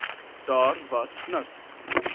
daar was niks